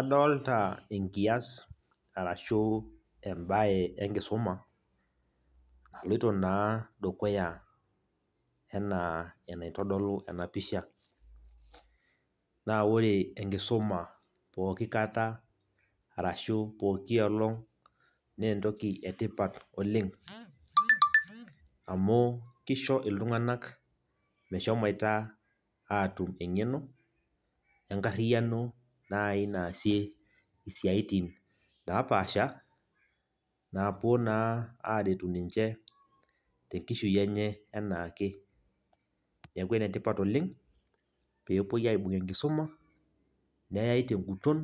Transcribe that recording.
Adolta enkias arashu ebae enkisuma, aloito naa dukuya enaa enaitodolu enapisha. Na ore enkisuma pooki kata arashu pooki olong', nentoki etipat oleng, amu kisho iltung'anak meshomoita atum eng'eno, enkarriyiano nai naasie isiaitin napaasha, napuo naa aretu ninche tenkishui enye enaake. Neeku enetipat oleng, pepoi aibung enkisuma, neyai teguton,